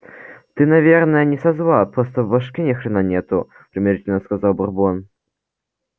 ты наверное не со зла просто в башке ни хрена нету примирительно сказал бурбон